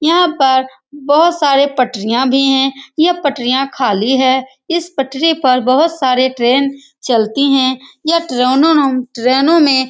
यहां पर बहुत सारी पटरियां भी है ये पटरियां खाली है इस पटरी पर बहुत सारे ट्रेन चलती है यह ट्रोनो ट्रेनों में --